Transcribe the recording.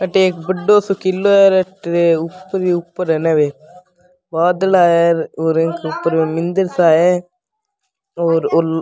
अठे एक बड़ो सो किलो है बादला है उर ऊपर मंदिर सा है और --